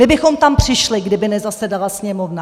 My bychom tam přišli, kdyby nezasedala Sněmovna!